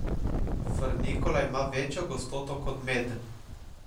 Frnikola ima večjo gostoto kot med.